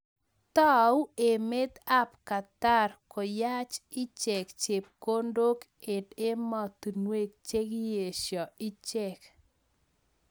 Tau emet ab Qatar koyach ichek chepkondok eng emotinwek chekiesha ichek.